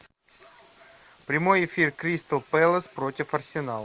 прямой эфир кристал пэлас против арсенал